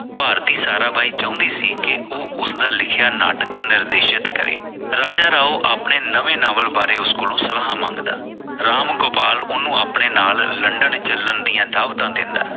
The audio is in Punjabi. ਭਾਰਤੀ ਸਾਰਾ ਬਾਈ ਚਾਹੁੰਦੀ ਸੀ ਕਿ ਉਹ ਉਸਦਾ ਲਿਖਿਆ ਨਾਟਕ ਨਿਰਦੇਸ਼ਤ ਕਰੇ ਰਾਜਾ ਰਾਓ ਆਪਣੇ ਨਵੇਂ novel ਬਾਰੇ ਉਸ ਕੋਲ ਸਲਾਹਾਂ ਮੰਗਦਾ ਰਾਮ ਗੋਪਾਲ ਉਸਨੂੰ ਆਪਣੇ ਨਾਲ london ਚੱਲਣ ਦੀਆਂ ਦਾਵਤਾਂ ਦੇਦਾਂ।